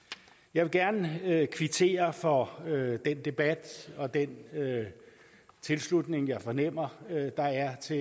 jeg vil gerne kvittere for den debat og den tilslutning jeg fornemmer der er til